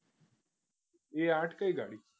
A આથ કઈ ગાડી?